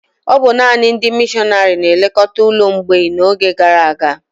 Ọ bụ nanị ndị mịshọnárì na-elekọta ụlọ mgbei n'oge gara aga